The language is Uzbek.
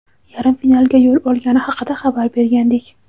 yarim finalga yo‘l olgani haqida xabar bergandik.